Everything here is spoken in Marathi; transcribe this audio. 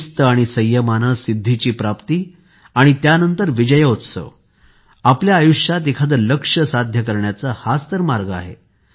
शिस्त आणि संयमाने सिद्धीची प्राप्ती आणि त्यानंतर विजयोत्सव आपल्या आयुष्यात एखादे लक्ष्य साध्य करण्याचा हाच तर मार्ग आहे